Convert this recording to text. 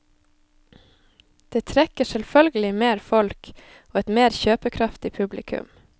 Det trekker selvfølgelig mer folk og et mer kjøpekraftig publikum.